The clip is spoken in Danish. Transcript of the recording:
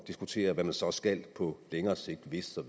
diskutere hvad man så skal på længere sigt hvis der